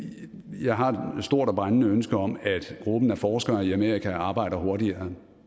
jeg har et stort og brændende ønske om at gruppen af forskere i amerika arbejder hurtigere